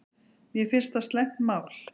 Mér finnst það slæmt mál